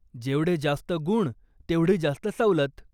जेवढे जास्त गुण, तेवढी जास्त सवलत.